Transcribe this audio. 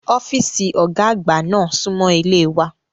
Ọ́fíìsì Ọ̀gá àgbà náà súnmọ́ ilé wa